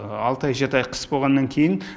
алты ай жеті ай қыс болғаннан кейін